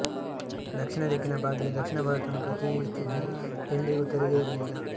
ದಕ್ಷಿಣ ದಿಕ್ಕಿನ ಬಾಗಿಲು ದಕ್ಷಿಣ ಭಾರತವನ್ನು ಪ್ರತಿನಿಧಿಸುತ್ತಿದ್ದುದು ಎಂದಿಗೂ ತೆರೆದೇ ಇರಲಿಲ್ಲ